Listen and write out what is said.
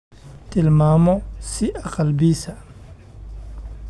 tilmaamo sii aqal-biisa